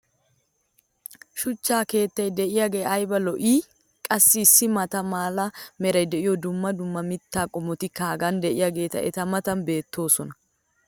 shuchcha keettay diyaagee ayba lo'ii! qassi issi maata mala meray diyo dumma dumma mitaa qommotikka hagan diyaageeti eta matan beettoosona.